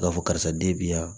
B'a fɔ karisa den bɛ yan